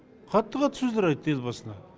қатты қатты сөздер айтты елбасына